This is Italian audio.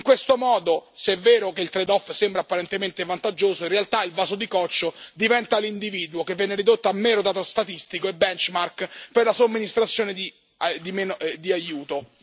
In questo modo, se è vero che il trade off sembra apparentemente vantaggioso, in realtà il vaso di coccio diventa l'individuo, che viene ridotto a mero dato statistico e benchmark per la somministrazione di aiuto.